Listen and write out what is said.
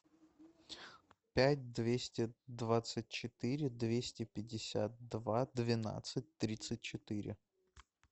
пять двести двадцать четыре двести пятьдесят два двенадцать тридцать четыре